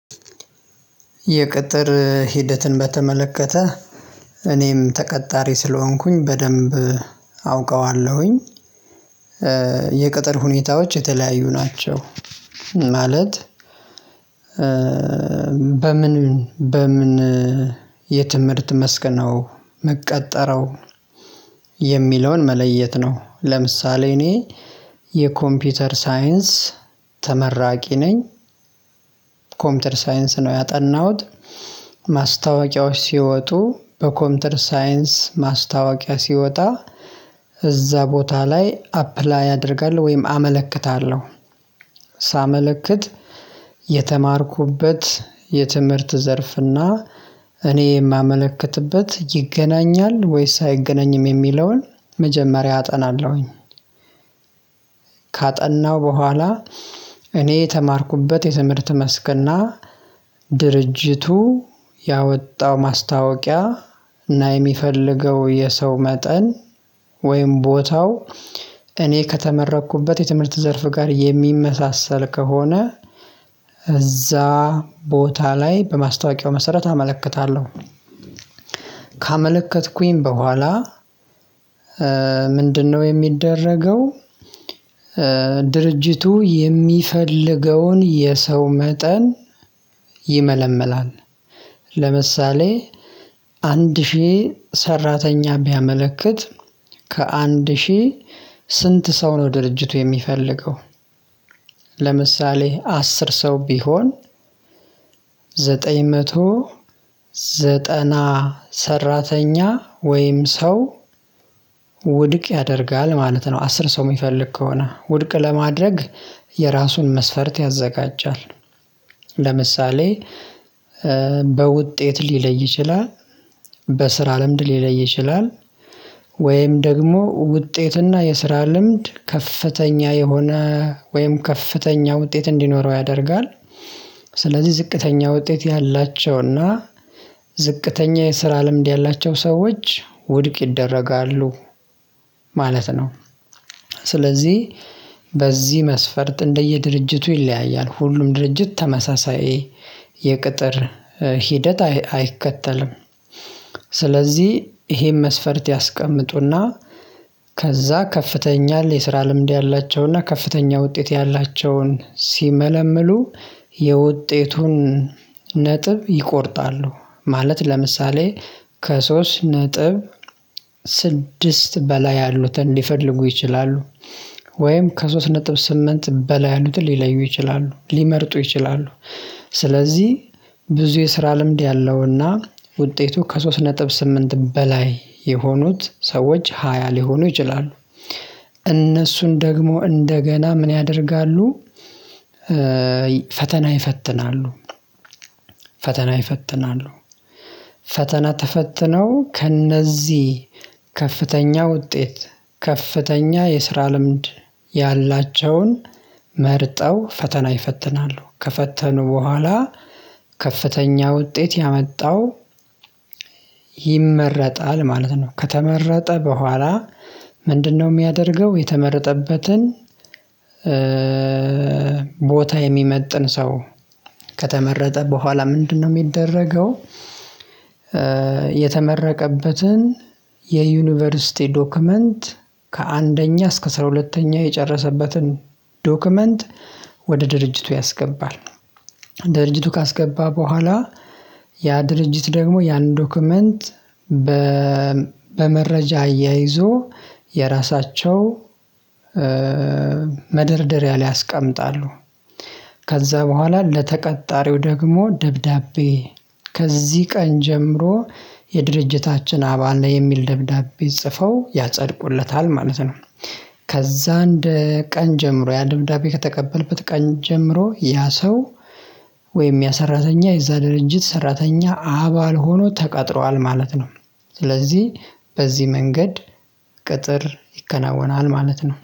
የቅጥር ሂደትን በተመለከተ እኔም ተቀጣሪ ስለሆንኩኝ በደንብ አውቀኃለሁኝ። የቅጥር ሁኔታዎች የተለያዩ ናቸው። ማለት በምን በምን የትምህርት መስክ ነው ምቀጠረው? የሚለውን መለየት ነው። ለምሳሌ እኔ የኮምፒውተር ሳይንስ ተመራቂ ነኝ። ኮምፒውተር ሳይንስ ነው ያጠናሁት። ማስታወቂያዎች ሲወጡ በኮምፒውተር ሳይንስ ማስታወቂያ ሲወጣ እዛ ቦታ ላይ አፕላይ አደርጋለሁ ወይም አመለክታለሁ። ሳመለክት የተማርኩበት የትምህርት ዘርፍና እኔ የማመለክትበት ይገናኛል ወይስ አይገናኝም የሚለውን መጀመሪያ አጠናለሁኝ። ካጠናው በኋላ እኔ የተማርኩበት የትምህርት መስክና ድርጅቱ ያወጣው ማስታወቂያ እና የሚፈልገው የሰው መጠን ወይም ቦታው እኔ ከተመረኩበት የትምህርት ዘርፍ ጋር የሚመሳሰል ከሆነ እዛ ቦታ ላይ በማስታወቂያው መሰረት አመለክታለሁ። ካመለከትኩኝ በኋላ ምንድነው የሚደረገው? ድርጅቱ የሚፈልገውን የሰው መጠን ይመለምላል። ለምሳሌ አንድ ሺህ ሰራተኛ ቢያመለክት ከአንድ ሺህ ስንት ሰው ነው ድርጅቱ የሚፈልገው? ለምሳሌ አስር ሰው ቢሆን ዘጠኝ መቶ ዘጠና ሰራተኛ ወይም ሰው ውድቅ ያደርጋል ማለት ነው። አስር ሰው የሚፈልግ ከሆነ ውድቅ ለማድረግ የራሱን መስፈርት ያዘጋጃል። ለምሳሌ በውጤት ሊለይ ይችላል በስራ ለምድ ሊለይ ይችላል ወይም ደግሞ ውጤትና የስራ ልምድ ከፍተኛ የሆነ ወይም ከፍተኛ ውጤት እንዲኖረው ያደርጋል። ስለዚህ ዝቅተኛ ውጤት ያላቸውና ዝቅተኛ የስራ ልምድ ያላቸው ሰዎች ውድቅ ይደረጋሉ ማለት ነው። ስለዚህ በዚህ መስፈርት እንደየድርጅቱ ይለያያል ሁሉም ድርጅት ተመሳሳይ የቅጥር ሂደት አይከተልም። ስለዚህ ይሄን መስፈርት ያስቀምጡና ከዛ ከፍተኛ የስራ ልምድ ያላቸውና ከፍተኛ ውጤት ያላቸውን ሲመለምሉ የውጤቱን ነጥብ ይቆርጣሉ ማለት ለምሳሌ ከሶስት ነጥብ ስድስት በላይ ያሉትን ሊፈልጉ ይችላሉ። ወይም ከሶስት ነጥብ ስምንት በላይ ያሉትን ሊለዩ ይችላሉ ሊመርጡ ይችላሉ። ስለዚህ ብዙ የስራ ልምድ ያለውና ውጤቱ ከሶስት ነጥብ ስምንት በላይ የሆኑት ሰዎች ሃያ ሊሆኑ ይችላሉ። እነሱን ደግሞ እንደገና ምን ያደርጋሉ? ፈተና ይፈትናሉ ፈተና ይፈትናሉ። ፈተና ተፈትነው ከእነዚህ ከፍተኛ ውጤት ከፍተኛ የስራ ልምድ ያላቸውን መርጠው ፈተና ይፈትናሉ። ከፈተኑ በኋላ ከፍተኛ ውጤት ያመጣው ይመረጣል ማለት ነው። ከተመረጠ በኋላ ምንድነው የሚያደርገው የተመረጠበትን? ቦታ የሚመጥን ሰው ከተመረጠ በኋላ ምንድነው የሚደረገው? የተመረቀበትን የዩኒቨርሲቲ ዶክመንት ከአንደኛ እስከ አስራ ሁለተኛ የጨረሰበትን ዶክመንት ወደ ድርጅቱ ያስገባል። ወደ ድርጅቱ ካስገባ በኋላ ያ ድርጅት ደግሞ ያን ዶክመንት በመረጃ አያይዞ የራሳቸው መደርደሪያ ያስቀምጣሉ። ከዛ በኋላ ለተቀጣሪው ደግሞ ደብዳቤ ከዚህ ቀን ጀምሮ የድርጅታችን አባል ላይ የሚል ደብዳቤ ጽፈው ያጸድቁለታል ማለት ነው። ከዛ እንደ ቀን ጀምሮ ያ ድምዳቤ ከተቀበለበት ቀን ጀምሮ ያ ሰው ወይም ያ ሰራተኛ የዛ ድርጅት ሰራተኛ አባል ሆኖ ተቀጥረኃል ማለት ነው። ስለዚህ በዚህ መንገድ ቅጥር ይከናወናል ማለት ነው